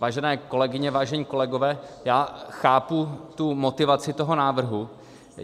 Vážené kolegyně, vážení kolegové, já chápu tu motivaci toho návrhu.